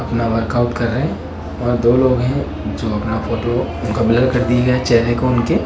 अपना वर्कआउट कर रहे और दो लोग हैं जो अपना फोटो ब्लर कर दिए चेहरे को उनके--